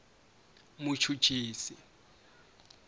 muchuchisi